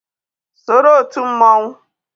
Soro òtù mmonwu!